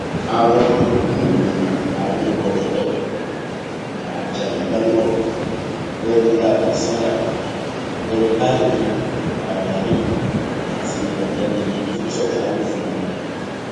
àwọn yòókù ni abilékọ dúpẹ ajayigbàdébọ ọgbẹni láóyè sándà ọgbẹni tajudeen raimi àti ọgbẹni victor taiwò fúnra rẹ